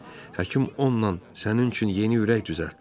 Həkim onunla sənin üçün yeni ürək düzəltdi.